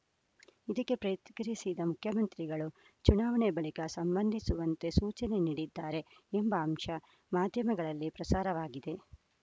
ಇದಕ್ಕೆ ಪ್ರಯಿಕ್ರಿಯಿಸಿದ್ದ ಮುಖ್ಯಮಂತ್ರಿಗಳು ಚುನಾವಣೆ ಬಳಿಕ ಸಂಬಂಧಿಸುವಂತೆ ಸೂಚನೆ ನೀಡಿದ್ದಾರೆ ಎಂಬ ಅಂಶ ಮಾಧ್ಯಮಗಳಲ್ಲಿ ಪ್ರಸಾರವಾಗಿದೆ